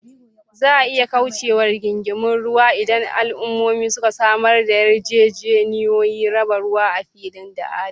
Za a iya kauce wa rigingimun ruwa idan al’ummomi suka samar da yarjejeniyoyin raba ruwa a fili da adalci.